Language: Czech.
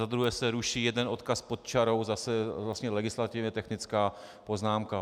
Za druhé se ruší jeden odkaz pod čarou, zase vlastně legislativně technická poznámka.